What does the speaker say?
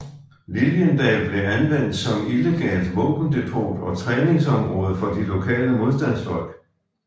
Liliendal blev anvendt som illegalt våbendepot og træningsområde for de lokale modstandsfolk